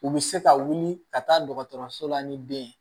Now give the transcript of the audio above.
U bɛ se ka wuli ka taa dɔgɔtɔrɔso la ni den ye